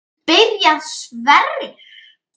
Byrjar Sverrir?